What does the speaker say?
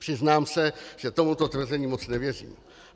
Přiznám se, že tomuto tvrzení moc nevěřím.